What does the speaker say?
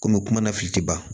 Komi kuma na fili tɛ ban